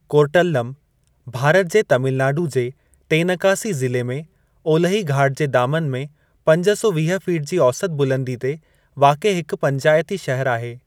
कोर्टल्लम भारत जे तमिलनाडु जे तेनकासी ज़िले में ओलिही घाट जे दामनु में पंज सौ वीह फीट जी औसत बुलंदी ते वाक़िअ हिकु पंचायती शहर आहे।